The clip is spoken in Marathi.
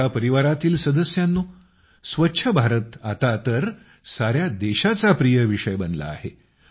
माझ्या परिवारातील सदस्यांनो स्वच्छ भारत आता तर संपूर्ण देशाचा प्रिय विषय बनला आहे